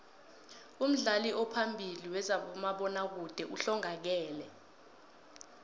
umdlali ophambili wezabomabona kude uhlongakele